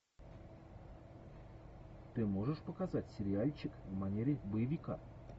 ты можешь показать сериальчик в манере боевика